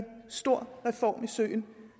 stor reform i søen